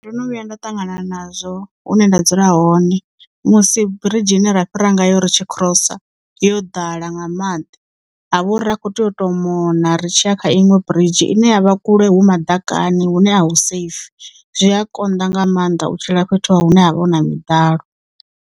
Ndo no vhuya nda ṱangana nazwo hune nda dzula hone musi biridzhi ine ra fhira nga yo ri tshi cross yo ḓala nga maḓi ha vha uri ri kho tea uto mona ri tshiya kha iṅwe biridzhi ine ya vha kule hu maḓakani hune a hu safe zwi a konḓa nga maanḓa u tshila fhethu hune ha vha hu na miḓalo.